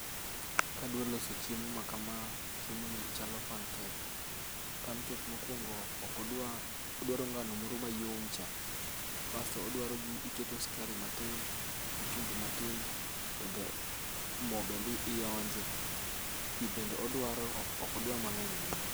Kadwa loso chiemo makama, chiemoni chalo pancake, Pancake mokuongo ok odwa, odwaro ngano moro mayom cha. Bas to odwaro iketo sukari matin, gi chumbi matin to mo bende ionje. Pi bende odwaro to ok odwar mang'eny ahinya.